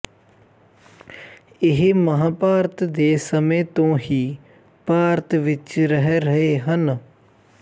ਇਹ ਮਹਾਂਭਾਰਤ ਦੇ ਸਮੇਂ ਤੋਂ ਹੀ ਭਾਰਤ ਵਿਚ ਰਹਿ ਰਹੇ ਹਨ